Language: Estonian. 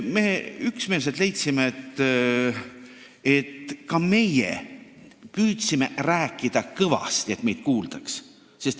Me üksmeelselt leidsime, et ka meie püüdsime kõvasti rääkida, et meid kuuldaks.